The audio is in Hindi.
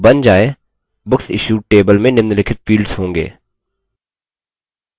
जब बन जाय books issued table में निम्नलिखित fields होंगे